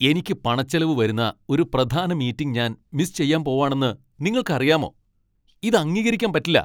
എനിക്ക് പണച്ചെലവ് വരുന്ന ഒരു പ്രധാന മീറ്റിങ് ഞാൻ മിസ് ചെയ്യാൻ പോവാണെന്ന് നിങ്ങൾക്കറിയാമോ? ഇത് അംഗീകരിക്കാൻ പറ്റില്ല .